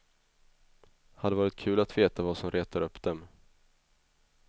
Hade varit kul att veta vad som retar upp dem.